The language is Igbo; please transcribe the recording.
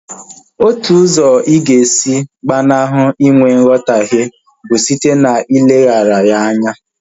Otu usọ ịga esi gbanahụ inwe nghotahie bụ site na ileghara ya anya